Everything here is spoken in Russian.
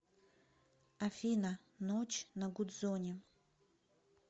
афина ночь на гудзоне